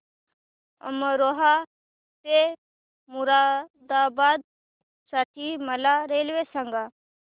अमरोहा ते मुरादाबाद साठी मला रेल्वे सांगा